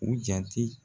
U jate